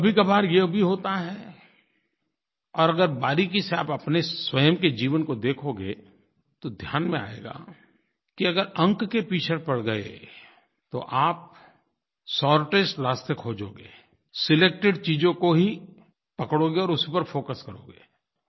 कभीकभार ये भी होता है और अगर बारीक़ी से आप अपने स्वयं के जीवन को देखोगे तो ध्यान में आएगा कि अगर अंक के पीछे पड़ गए तो आप शॉर्टेस्ट रास्ते खोजोगे सिलेक्टेड चीजों को ही पकड़ोगे और उसी पर फोकस करोगे